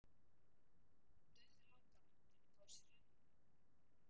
Þó dauðlangar hann til að fá sér rauðvín.